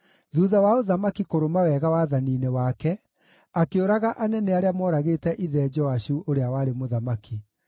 Thuutha wa ũthamaki kũrũma wega wathani-inĩ wake, akĩũraga anene arĩa mooragĩte ithe Joashu ũrĩa warĩ mũthamaki.